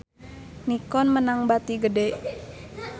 Nikon meunang bati gede